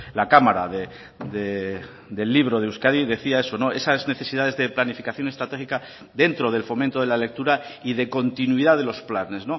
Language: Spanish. la cámara del libro de euskadi decía eso esas necesidades de planificación estratégica dentro del fomento de la lectura y de continuidad de los planes